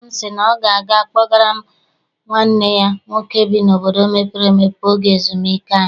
Nna m sị na ọ ga a kpọgara m nwanne ya nwoke bi n'obodo mepere emepe oge ezumike anyị.